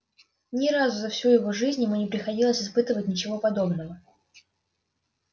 ни разу за всю его жизнь ему не приходилось испытывать ничего подобного